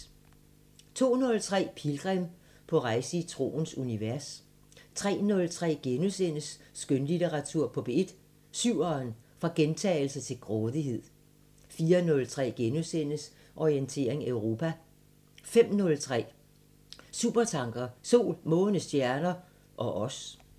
02:03: Pilgrim – på rejse i troens univers 03:03: Skønlitteratur på P1: Syveren: fra gentagelser til grådighed * 04:03: Orientering Europa * 05:03: Supertanker: Sol, måne, stjerner ... og os